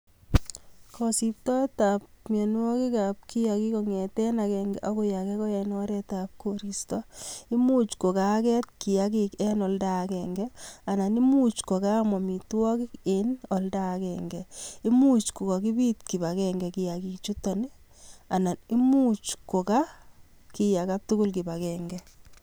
Kosiptoetab kiakik kong'eten akeng'e akoi akee ko en oretab koristo, imuch ko kaaket kiakik en olda akeng'e anan koimuch ko Kaam amitwokik en olda akeng'e, imuch ko kokibit kibang'e kiakichuton anan imuch ko kakiaka